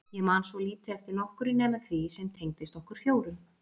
Ég man svo lítið eftir nokkru nema því sem tengdist okkur fjórum.